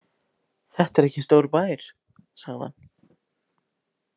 Þetta er ekki stór bær, sagði hann.